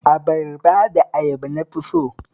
Abarba da ayaba na fi so